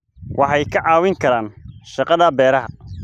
Waxay ka caawin karaan shaqada beeraha.